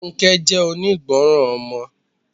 Funke jẹ́ onígbọràn ọmọ.